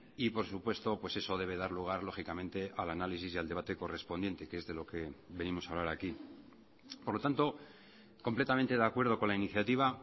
y por supuesto pues eso debe dar lugar lógicamente al análisis y al debate correspondiente que es de lo que venimos a hablar aquí por lo tanto completamente de acuerdo con la iniciativa